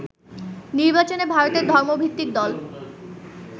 নির্বাচনে ভারতের ধর্মভিত্তিক দল